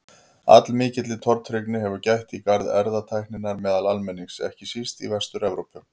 Allmikillar tortryggni hefur gætt í garð erfðatækninnar meðal almennings, ekki síst í Vestur-Evrópu.